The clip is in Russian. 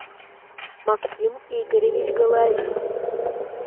максим игоревич головин